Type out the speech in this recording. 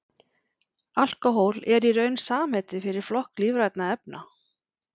alkóhól er í raun samheiti fyrir flokk lífrænna efna